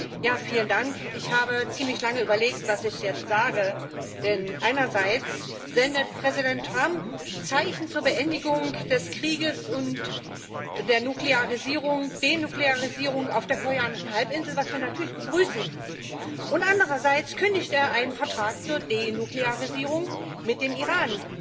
Herr Präsident! Ich habe ziemlich lange überlegt, was ich jetzt sage. Denn einerseits sendet Präsident Trump Zeichen zur Beendigung des Krieges und zur Denuklearisierung auf der koreanischen Halbinsel, was wir natürlich begrüßen, und andererseits kündigt er einen Vertrag zur Denuklearisierung mit dem Iran.